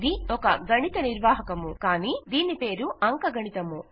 ఇది ఒక గణిత నిర్వాహకము కానీ దీని పేరు అంకగణితము